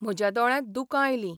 म्हज्या दोळ्यांत दुकां आयलीं..